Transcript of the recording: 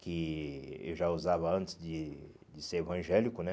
Que eu já usava antes de de ser evangélico, né?